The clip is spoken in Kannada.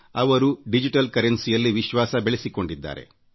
ಅವರು ಡಿಜಿಟಲ್ ಕರೆನ್ಸಿಯಲ್ಲಿ ವಿಶ್ವಾಸ ಬೆಳೆಸಿಕೊಂಡಿದ್ದಾರೆ